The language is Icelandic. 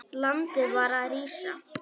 Landið var að rísa.